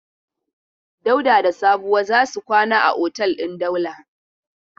Dauda da Sabuwa za su kwana a otel din Daula.